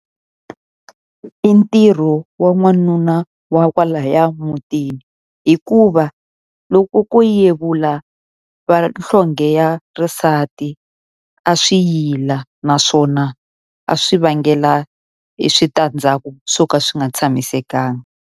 I ntirho wa n'wanuna wa kwalaya mutini. Hikuva loko ko yevula vanhlonge ya xisati, a swi yila naswona a swi vangela hi e switandzhaku swo ka swi nga tshamisekanga.